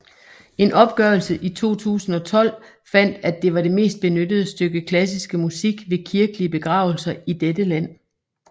En opgørelse i 2012 fandt at det var det mest benyttede stykke klassiske musik ved kirkelige begravelser i dette land